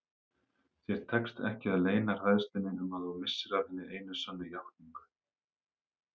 Þér tekst ekki að leyna hræðslunni um að þú missir af hinni einu sönnu játningu.